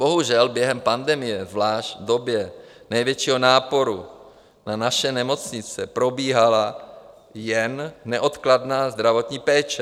Bohužel během pandemie, zvlášť v době největšího náporu na naše nemocnice, probíhala jen neodkladná zdravotní péče.